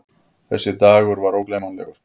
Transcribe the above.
Þessi dagur var ógleymanlegur.